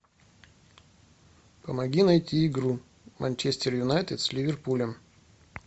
помоги найти игру манчестер юнайтед с ливерпулем